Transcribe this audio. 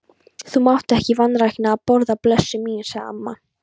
Þú mátt ekki vanrækja að borða, blessuð mín, sagði amma.